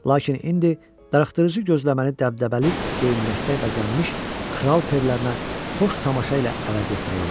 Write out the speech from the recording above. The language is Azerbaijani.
Lakin indi darıxdırıcı gözləməni dəbdəbəli geyinməkdə bəzənmiş kral perlərinə xoş tamaşa ilə əvəz etmək olar.